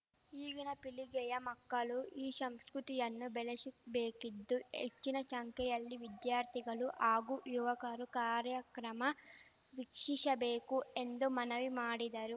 ಈಗಿನ ಪೀಳಿಗೆಯ ಮಕ್ಕಳು ಈ ಶಂಷ್ಕೃತಿಯನ್ನು ಬೆಳಶಬೇಕಿದ್ದು ಹೆಚ್ಚಿನ ಶಂಖ್ಯೆಯಲ್ಲಿ ವಿದ್ಯಾರ್ಥಿಗಳು ಹಾಗೂ ಯುವಕರು ಕಾರ್ಯಕ್ರಮ ವೀಕ್ಷಿಸಶಬೇಕು ಎಂದು ಮನವಿ ಮಾಡಿದರು